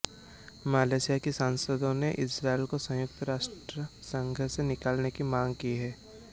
Malaysia के सांसदों ने इस्राईल को संयुक्त राष्ट्र संघ से निकालने की मांग की है